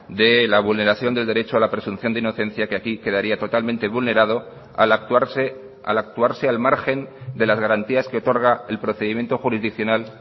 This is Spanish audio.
de la vulneración del derecho a la presunción de inocencia que aquí quedaría totalmente vulnerado al actuarse al actuarse al margen de las garantías que otorga el procedimiento jurisdiccional